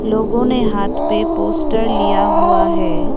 लोगों ने हाथ पे पोस्टर लिया हुआ है।